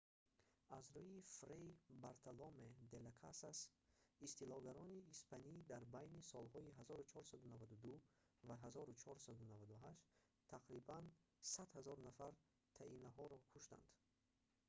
аз рӯи фрей бартоломе де ла касас tratado de las indias истилогаронӣ испанӣ дар байни солҳои 1492 ва 1498 тақрибан 100000 нафар таиноҳоро куштанд